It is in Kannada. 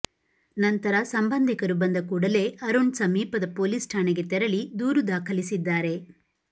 ನಂತರ ಸಂಬಂಧಿಕರು ಬಂದ ಕೂಡಲೇ ಅರುಣ್ ಸಮೀಪದ ಪೊಲೀಸ್ ಠಾಣೆಗೆ ತೆರಳಿ ದೂರು ದಾಖಲಿಸಿದ್ದಾರೆ